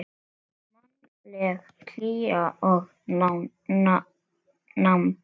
Mannleg hlýja og nánd.